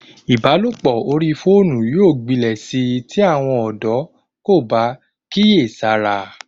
Ìbálòpọ̀ orí fóònù yóò gbilẹ̀ sí tí àwọn ọ̀dọ́ kò bá kíyèsára